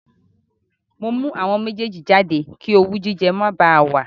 Mo mú àwọn méjèèjì jáde kí owú jíjẹ má bá a wà